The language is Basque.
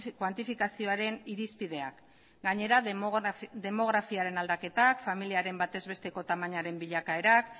kuantifikazioaren irizpideak gainera demografiaren aldaketak familiaren bataz besteko tamainaren bilakaerak